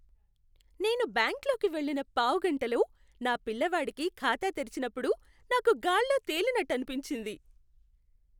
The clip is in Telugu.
నేను బ్యాంకులోకి వెళ్ళిన పావుగంటలో నా పిల్లవాడికి ఖాతా తెరిచినప్పుడు నాకు గాల్లో తెలినట్టనిపించింది.